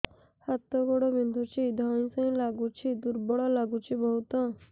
ହାତ ଗୋଡ ବିନ୍ଧୁଛି ଧଇଁସଇଁ ଲାଗୁଚି ଦୁର୍ବଳ ଲାଗୁଚି ବହୁତ